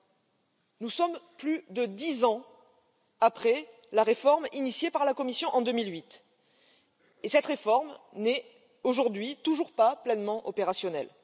Voici plus de dix ans que la réforme a été lancée par la Commission en 2008 et cette réforme n'est aujourd'hui toujours pas pleinement opérationnelle.